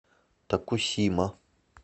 токусима